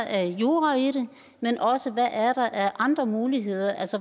er af jura i det men også der er af andre muligheder